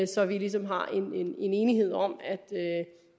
så vi ligesom har en enighed om at